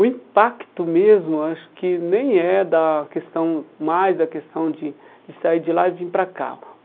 O impacto mesmo acho que nem é da questão, mais da questão de de sair de lá e vir para cá.